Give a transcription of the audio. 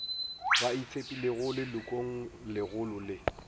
ba itshepilego lelokong legolo le